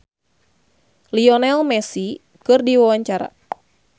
Rano Karno olohok ningali Lionel Messi keur diwawancara